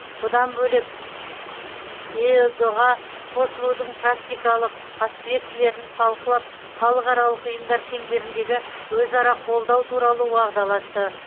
бұдан бөлек эыдұ ға қосылудың практикалық аспектілерін талқылап халықаралық ұйымдар шеңберіндегі өзара қолдау туралы уағдаласты